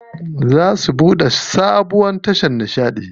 Za su buɗe sabuwar tashar nishaɗi.